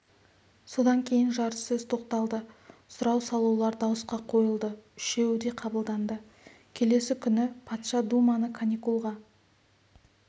содан кейін жарыссөз тоқталды сұрау салулар дауысқа қойылды үшеуі де қабылданды келесі күні патша думаны каникулға